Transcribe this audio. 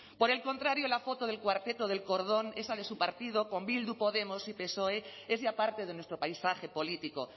por el contrario la foto del cuarteto del cordón esa de su partido con bildu podemos y psoe es ya parte de nuestro paisaje político